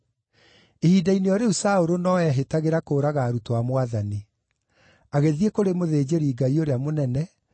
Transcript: Ihinda-inĩ o rĩu Saũlũ no eehĩtagĩra kũũraga arutwo a Mwathani. Agĩthiĩ kũrĩ mũthĩnjĩri-Ngai ũrĩa mũnene,